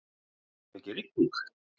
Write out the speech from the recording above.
Var svona mikil rigning.